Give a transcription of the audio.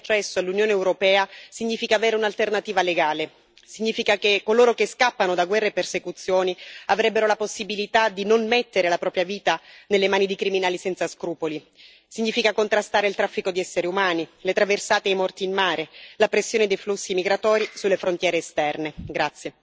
Istituire delle vie legali di accesso all'Unione europea significa avere un'alternativa legale, significa che coloro che scappano da guerre e persecuzioni avrebbero la possibilità di non mettere la propria vita nelle mani di criminali senza scrupoli, significa contrastare il traffico di esseri umani, le traversate e i morti in mare e la pressione dei flussi migratori sulle frontiere esterne.